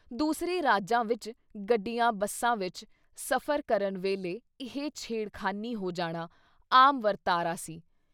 ਦੂਸਰੇ ਰਾਜਾਂ ਵਿੱਚ ਗੱਡੀਆਂ ਬੱਸਾਂ ਵਿੱਚ ਸਫ਼ਰ ਕਰਨ ਵੇਲੇ ਇਹ ਛੇੜਖਾਨੀ ਹੋ ਜਾਣਾ, ਆਮ ਵਰਤਾਰਾ ਸੀ।